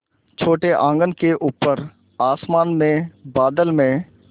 छोटे आँगन के ऊपर आसमान में बादल में